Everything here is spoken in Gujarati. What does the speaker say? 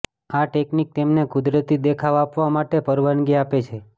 આ ટેકનીક તેમને કુદરતી દેખાવ આપવા માટે પરવાનગી આપે છે